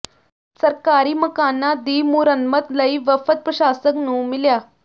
ਸਰਕਾਰੀ ਮਕਾਨਾਂ ਦੀ ਮੁਰੰਮਤ ਲਈ ਵਫ਼ਦ ਪ੍ਰਸ਼ਾਸਕ ਨੂੰ ਮਿਲਿਆ